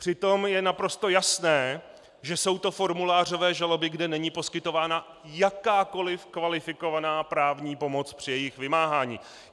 Přitom je naprosto jasné, že jsou to formulářové žaloby, kde není poskytována jakákoliv kvalifikovaná právní pomoc při jejich vymáhání.